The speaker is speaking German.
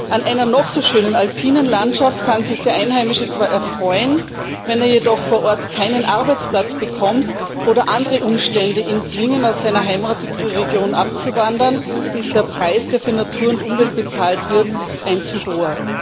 An einer noch so schönen alpinen Landschaft kann sich der Einheimische zwar erfreuen wenn er jedoch vor Ort keinen Arbeitsplatz bekommt oder andere Umstände ihn zwingen, aus seiner Heimatregion abzuwandern, ist der Preis, der für Natur und Umwelt bezahlt wird, ein zu hoher.